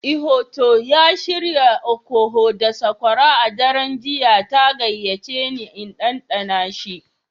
Ihotu ya shirya okoho da sokora a daren jiya ta gayyace ni in ɗanɗana shi.